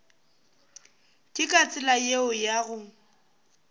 ke ka tsela yeo go